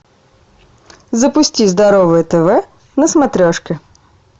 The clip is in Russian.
запусти здоровое тв на смотрешке